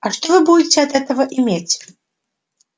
а что вы будете от этого иметь